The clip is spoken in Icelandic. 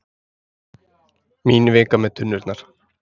Mín vika með tunnurnar.